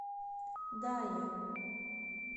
дае